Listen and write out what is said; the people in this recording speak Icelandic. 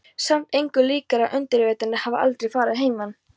Samt engu líkara en undirvitundin hafi aldrei farið að heiman.